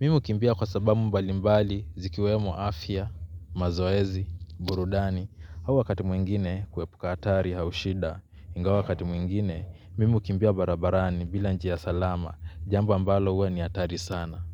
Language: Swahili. Mi ukimbia kwa sabamu mbalimbali zikiwemo afya, mazoezi, burudani. Hau wakati mwingine kuepuka atari hau shida ingawa wakati mwingine, mimi ukimbia barabarani bila njia salama jambo ambalo huwa ni atari sana.